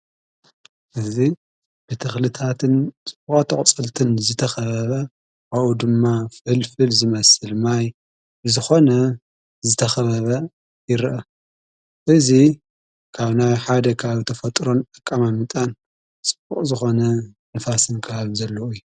እዝ ብትኽልታትን ጽቡቓት ኣቝጽልትን ዝተኸበበ ኣኡ ድማ ፍዕልፍል ዝመስል ማይ ዝኾነ ዝተኸበበ ይርአ እዙ ካው ናይ ሓደ ኽብ ተፈጥሮን ኣቃማምጣን ዝኾነ ንፋስን ክሃብ ዘለኡ እዩ።